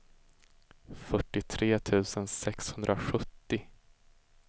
fyrtiotre tusen sexhundrasjuttio